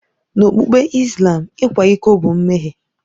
N'okpukpe Islam, ịkwa iko bụ mmehie.